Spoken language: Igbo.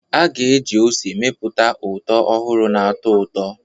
A ga-eji ose mepụta ụtọ ọhụrụ na-atọ ụtọ.